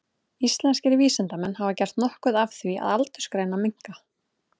Íslenskir vísindamenn hafa gert nokkuð af því að aldursgreina minka.